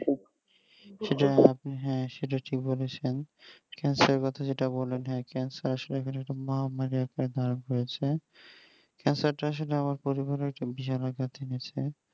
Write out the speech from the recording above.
সেটা আপনি হ্যাঁ সেটা ঠিক বলেছেন cancer কথা যেটা বললেন হ্যাঁ cancer আসলে একটা মহামারী আকার ধারণ করেছে cancer টা আসলে আমার পরিবারের একটা বিশাল আকার টেনেছে